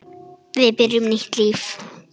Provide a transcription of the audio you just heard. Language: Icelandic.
Við byrjum nýtt líf.